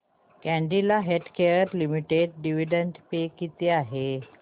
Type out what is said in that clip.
Cadila healthcare limited dividend pay किती आहे